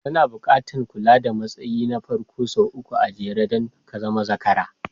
Zana buƙatar kula da matsayi na farko sau uku a jere don ka zama zakara